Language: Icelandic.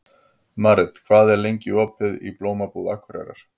Marit, hvað er lengi opið í Blómabúð Akureyrar?